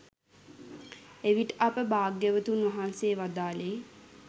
එවිට අප භාග්‍යවතුන් වහන්සේ වදාළේ